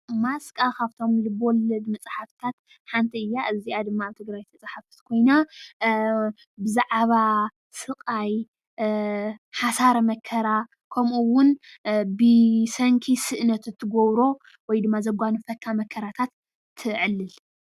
ማስቃ ካብቶም ልበወለድ መፃሕፍታት ሓንቲ እያ። እዚኣ ድማ ኣብ ትግራይ ዝተፃሕፈት ኮይና ብዛዕባ ስቃይ ሓሳረ መከራ ከምኡ ውን ብሰንኪ ስእነት እትገብሮ ወይድማ ዘጓነፈካ መከራታት ተዕልል።